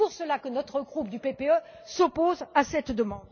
C'est pour cela que notre groupe PPE s'oppose à cette demande.